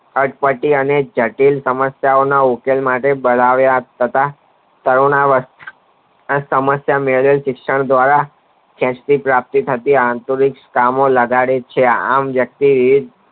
અટ પટી અને જટિલ સમસ્યા ઓ ના ઉકેલ માટે બરાયે યાદ કરતા કરુણા જળ સમસ્યા મેળવી શિક્ષણ દ્વારા પ્રાપ્તિ થતી આંતરિક કામો લગાડે છે આમ વયકતી